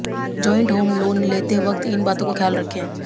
joint home loan लेते वक्त इन बातों का रखें ख्याल